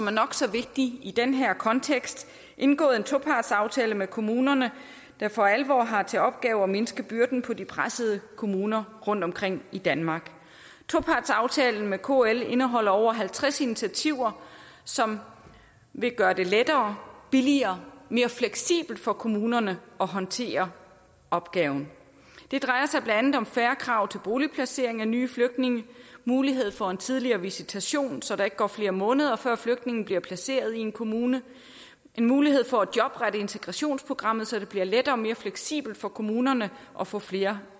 er nok så vigtigt i den her kontekst indgået en topartsaftale med kommunerne der for alvor har til opgave at mindske byrden på de pressede kommuner rundtomkring i danmark topartsaftalen med kl indeholder over halvtreds initiativer som vil gøre det lettere billigere og mere fleksibelt for kommunerne at håndtere opgaven det drejer sig blandt andet om færre krav til boligplacering af nye flygtninge mulighed for en tidligere visitation så der ikke går flere måneder før flygtninge bliver placeret i en kommune en mulighed for at jobrette integrationsprogrammet så det bliver lettere og mere fleksibelt for kommunerne at få flere